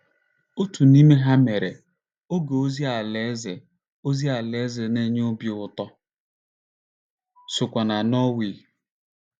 Otu n'ime ha mere, oge ozi Alaeze ozi Alaeze na-enye obi ụtọ sokwa na Norway.